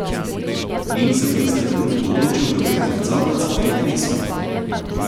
In se v tistem trenutku odločil prevzeti nadzor nad svojim telesom.